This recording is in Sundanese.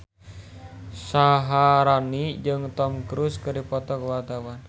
Syaharani jeung Tom Cruise keur dipoto ku wartawan